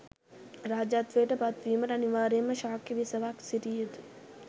රාජ්‍යත්වයට පත්වීමට අනිවාර්යෙන්ම ශාක්‍ය බිසවක් සිටිය යුතු.